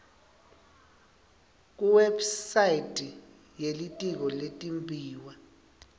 kuwebsite yelitiko letimbiwa